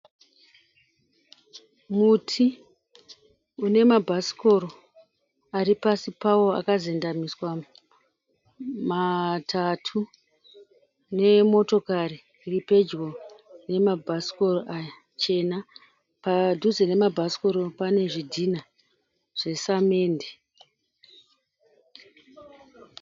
Muti une mabhasikoro ari pasi pao akazendamiswa matatu nemotokari iripedyo nemabhasikoro aya chena. Padhuze nemabhasikoro pane zvidhinha zvesamende.